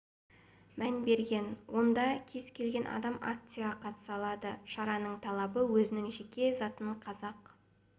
мән берген онда кез келген адам акцияға қатыса алады шараның талабы өзінің жеке затын қазақ